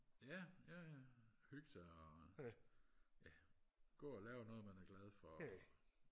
ja jaja hygge sig og ja gå og lave noget man er glad for